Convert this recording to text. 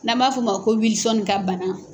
N'an b'a f'o ma ko Wilsɔne ka bana.